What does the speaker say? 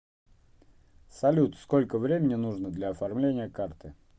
салют сколько времени нужно для оформления карты